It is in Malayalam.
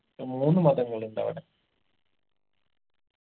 ഏർ മൂന്ന് മതങ്ങളുണ്ടവിടെ